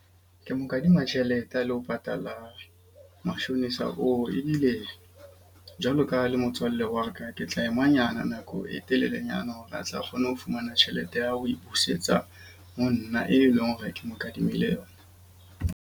Ke mo kadima tjhelete a lo patala mashonisa oo. Ebile jwalo ka le motswallle wa ka. Ke tla ema nyana nako e telelenyana hore a tle a kgone ho fumana tjhelete ya ho e busetsa ho nna, e leng hore ke mo kadimile yona.